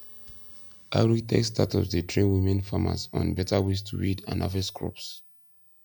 agritech startups dey train women farmers on better ways to weed and harvest crops